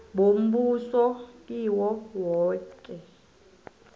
bombuso kiwo woke